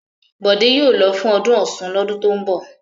Bọ̀dé yóò lọ fún ọdún Ọ̀ṣun lọ́dún tó ń bọ̀!